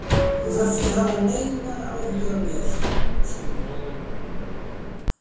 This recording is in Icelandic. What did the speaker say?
Þú þarft ekki að hafa neinar áhyggjur af mér, sagði hún.